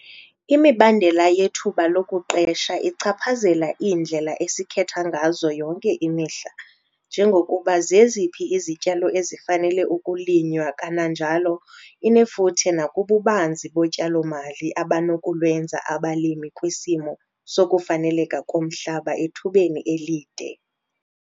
Imibandela yethuba lokuqesha ichaphazela iindlela esikhetha ngazo yonke imihla njengokuba zeziphi izityalo ezifanele ukulinywa kananjalo inefuthe nakububanzi botyalo-mali abanokulwenza abalimi kwisimo sokufaneleka komhlaba ethubeni elide.